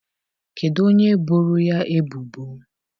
Kedụ onye boro ya ebubo?